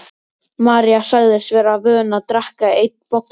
María sagðist vera vön að drekka einn bolla á dag.